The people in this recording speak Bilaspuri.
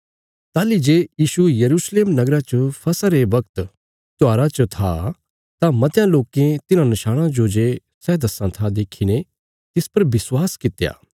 ताहली जे यीशु यरूशलेम नगरा च फसह रे बगत त्योहारा च था तां मतयां लोकें तिन्हां नशाणां जो जे सै दस्सां था देखीने तिस पर विश्वास कित्या